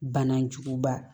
Bana juguba